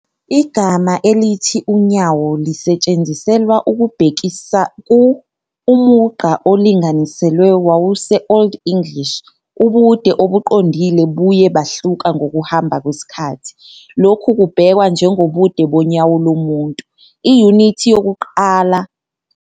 Igama elithi "unyawo" lisetshenziselwa ukubhekisa ku ".umugqa olinganiselwe wawuse-Old English, ubude obuqondile buye bahluka ngokuhamba kwesikhathi, lokhu kubhekwa njengobude bonyawo lomuntu, iyunithi yokukala esetshenziswa kabanzi futhi endulo. Ngalomqondo ubuningi buvame ukuba yizinyawo. I-intshi nezinyawo zamanje zishiwo kukalwa ku-12c.